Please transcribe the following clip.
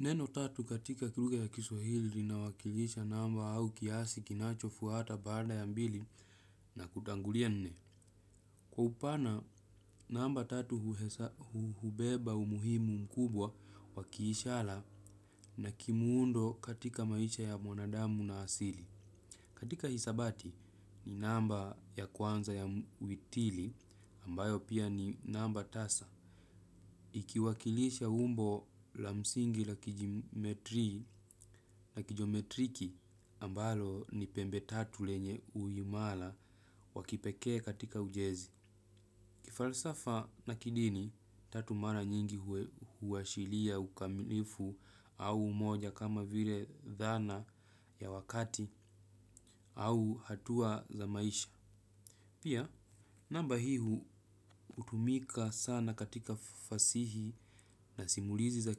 Neno tatu katika kilugha ya kiswahili lina wakilisha namba au kiasi kinachofuata baada ya mbili na kutangulia nne. Kwa upana, namba tatu hubeba umuhimu mkubwa wakiishara na kimuundo katika maisha ya mwanadamu na asili. Katika hisabati ni namba ya kwanza ya witili ambayo pia ni namba tasa. Ikiwakilisha umbo la msingi la kijiometrki ambalo ni pembe tatu lenye uimara wakipekee katika ujenzi. Kifalsafa na kidini tatu mara nyingi huashiria ukamilifu au umoja kama vile dhana ya wakati au hatua za maisha. Pia namba hii hutumika sana katika fasihi na simulizi za